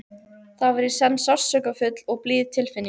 Það var í senn sársaukafull og blíð tilfinning.